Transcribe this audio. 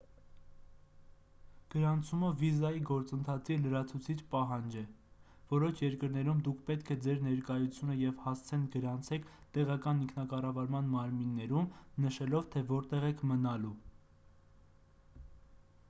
գրանցումը վիզայի գործընթացի լրացուցիչ պահանջ է որոշ երկրներում դուք պետք է ձեր ներկայությունը և հասցեն գրանցեք տեղական ինքնակառավարման մարմիններում նշելով թե որտեղ եք մնալու